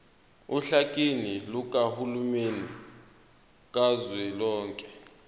ohlakeni lukahulumeni kazwelonke